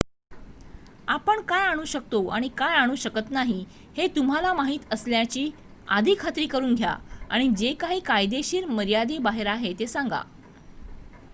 आपण काय आणू शकतो आणि काय आणू शकत नाही हे तुम्हाला माहित असल्याची आधी खात्री करून घ्या आणि जे काही कायदेशीर मर्यादेच्याबाहेर आहे ते सांगा